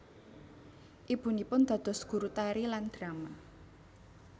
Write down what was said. Ibunipun dados guru tari lan drama